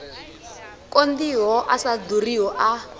konḓiho a sa ḓuriho a